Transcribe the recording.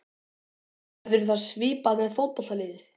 Verður það svipað með fótboltaliðið?